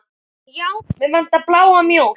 Já, mig vantar bláa mjólk.